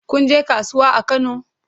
Kun je kasuwa a Kano?